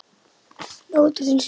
Hlátur þinn smitar.